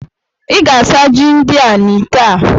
Ị ga-asa ji ndị a dị n'itè a!